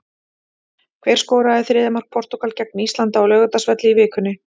Hver skoraði þriðja mark Portúgal gegn Íslandi á Laugardalsvelli í vikunni?